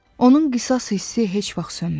Onun qisas hissi heç vaxt sönmədi.